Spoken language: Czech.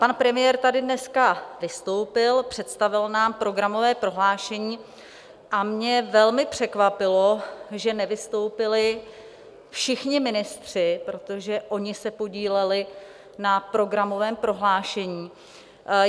Pan premiér tady dneska vystoupil, představil nám programové prohlášení a mě velmi překvapilo, že nevystoupili všichni ministři, protože oni se podíleli na programovém prohlášení.